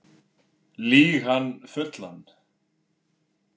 Lýg hann fullan